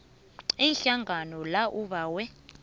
ihlangano la ubawe